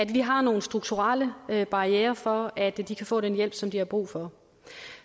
vi har nogle strukturelle barrierer for at de kan få den hjælp som de har brug for